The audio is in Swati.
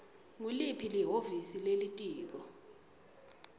nguliphi lihhovisi lelitiko